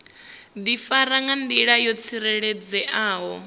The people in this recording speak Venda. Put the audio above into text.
difara nga ndila yo tsireledzeaho